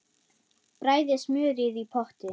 Bræðið smjörið í potti.